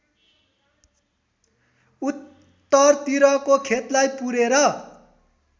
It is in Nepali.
उत्तरतिरको खेतलाई पुरेर